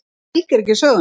Það fylgir ekki sögunni.